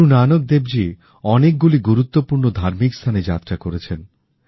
গুরু নানক দেবজী অনেকগুলি গুরুত্বপূর্ণ ধার্মিকস্থানেযাত্রাকরেছেন